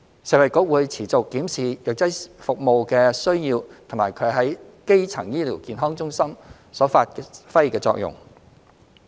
食衞局會持續檢視藥劑服務的需要及其在基層醫療健康中發揮的作用。